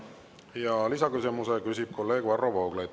Ja lisaküsimuse küsib kolleeg Varro Vooglaid.